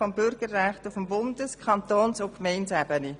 Betroffen sind Bürgerrechte auf Bundes-, Kantons- und Gemeindeebene.